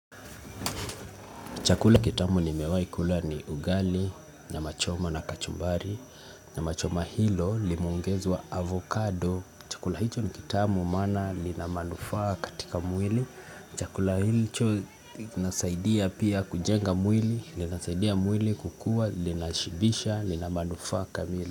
Chakula kitamu nimewahi kula ni ugali, nyama choma na kachumbari, nyama choma hilo limeongezwa avocado. Chakula hicho ni kitamu maana lina manufaa katika mwili. Chakula hicho kinasaidia pia kujenga mwili, lina saidia mwili kukua, lina shibisha, lina manufaa kamili.